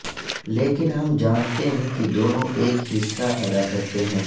لیکن ہم جانتے ہیں کہ دونوں ایک حصہ ادا کرتے ہیں